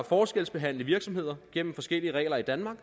forskelsbehandle virksomheder gennem forskellige regler i danmark